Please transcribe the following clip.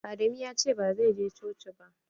Adamu ya ce ba zai je coci ba.